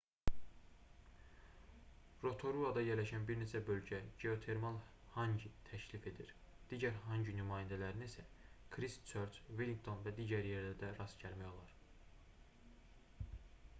rotoruada yerləşən bir neçə bölgə geotermal hangi təklif edir digər hangi nümunələrinə isə kristçörç vellinqton və digər yerlərdə rast gəlmək olar